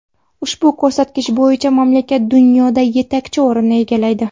Ushbu ko‘rsatkich bo‘yicha mamlakat dunyoda etakchi o‘rinni egallaydi.